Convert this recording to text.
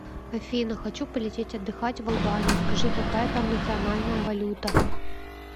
афина хочу полететь отдыхать в албанию скажи какая там национальная валюта